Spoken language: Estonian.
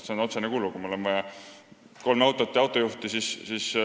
See on ju otsene kulu, kui mul on vaja kolme autot ja autojuhti.